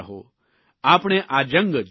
આપણે આ જંગ જીતવો છે